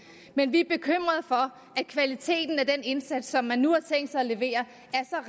men vi er bekymrede for at kvaliteten af den indsats som man nu har tænkt sig at levere